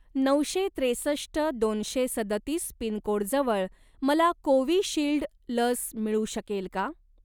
नऊशे त्रेसष्ट दोनशे सदतीस पिनकोडजवळ मला कोविशिल्ड लस मिळू शकेल का?